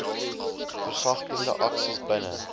versagtende aksies binne